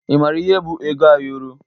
Ị mara ihe bụ ego ayọrọ?